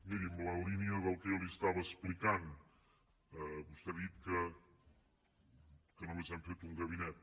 miri en la línia del que jo li estava explicant vostè ha dit que només hem fet un gabinet